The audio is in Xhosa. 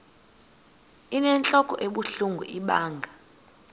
inentlok ebuhlungu ibanga